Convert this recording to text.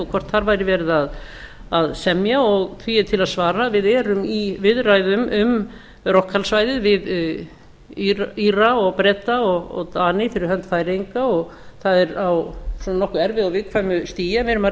og hvort þar væri verið að semja því er til að svara að við erum í viðræðum um rochallsvæðið við íra breta og dani fyrir hönd færeyinga og það er á nokkuð erfiðu og viðkvæmu stigi en við erum að reyna